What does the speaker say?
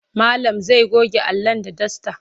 Malam zai goge Alan da dasta.